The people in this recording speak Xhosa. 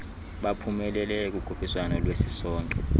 baphumeleleyo kukhuphiswano lwesisonke